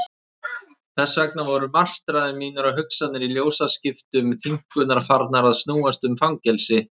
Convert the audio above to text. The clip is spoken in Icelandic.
Þess vegna voru martraðir mínar og hugsanir í ljósaskiptum þynnkunnar farnar að snúast um fangelsi.